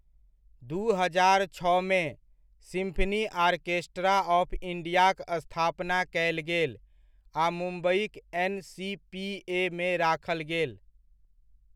दू हजार छओमे, सिम्फनी आर्केस्ट्रा ऑफ इन्डियाक स्थापना कयल गेल आ मुम्बइक एन.सी.पी.ए.मे राखल गेल।